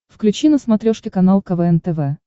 включи на смотрешке канал квн тв